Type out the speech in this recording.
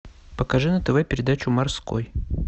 покажи на тв передачу морской